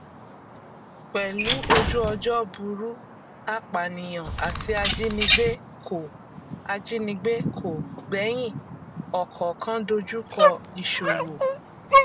pẹlú ojúọjọ burú apànìyàn àti ajínigbé kò ajínigbé kò gbẹyìn ọkọọkan dojúkọ ìṣówó